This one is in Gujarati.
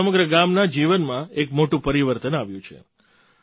તેનાથી સમગ્ર ગામના જીવનમાં એક મોટું પરિવર્તન આવ્યું છે